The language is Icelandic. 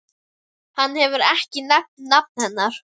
Hann hefur ekki nefnt nafn hennar.